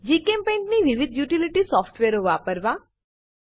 જીચેમ્પેઇન્ટ ની વિવિધ યુટીલીટી સોફ્ટવેરો વાપરવા